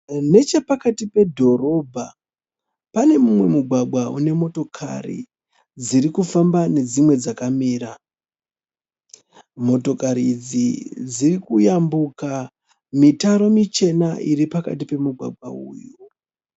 Nechepakati pedhorobha pane mumwe mugwagwa unemotokari dzirikufamba nedzimwe dzakamira. Motokari idzi dzirikuyambuka mitaro michena iri pakati pemugwagwa uyu.